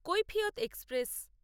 Kaifiyat express